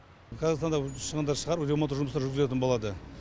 қазіргі таңда шығындар шығарып ремонттық жұмыстар жүргізілетін болады